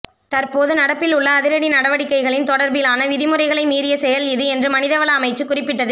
தற்போது நடப்பில் உள்ள அதிரடி நடவடிக்கைகளின் தொடர்பிலான விதிமுறைகளை மீறிய செயல் இது என்று மனிதவள அமைச்சு குறிப்பிட்டது